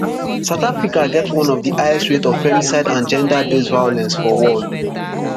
south africa get one of di highest rate of femicide and gender based violence for world